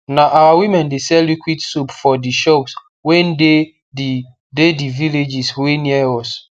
na our women de sell liquid soap for de shops wey dey the dey the villages wey near us